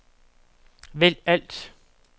vælg alt